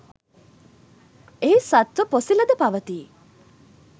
එහි සත්ත්ව පොසිලද පවතී.